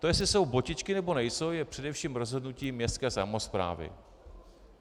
To, jestli jsou botičky, nebo nejsou, je především rozhodnutí městské samosprávy.